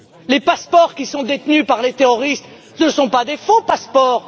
Les passeports qui sont détenus par les terroristes ne sont pas de faux passeports.